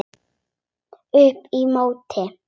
Upp í móti.